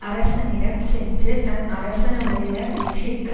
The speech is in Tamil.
அரசனிடம் சென்று தன் அரசனுடைய வெற்றிக்கு